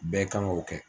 Bɛɛ kan k'o kɛ